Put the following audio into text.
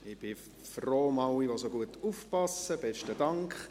Ich bin froh um alle, die so gut aufpassen, besten Dank.